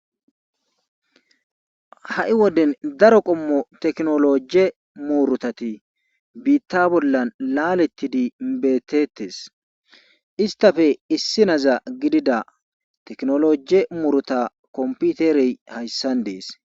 Ha'i woden daro qomo tekinoloje murutati biita bolan laletidi beetettes. istappe issiniza gidid tekinoloje muruta kompitere hayssan dees.